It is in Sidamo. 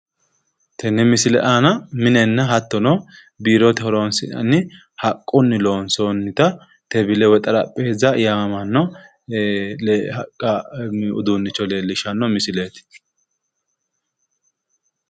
Tenne misile aana minenna hattono biirote horonsi'nanni haqqunni loonsoonnita tebile woyi xarapheeza yaamamanno haqqa uduunnicho leellishshanno misileeti.